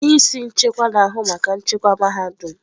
Onye isi nchekwa na-ahụ maka nchekwa mahadum.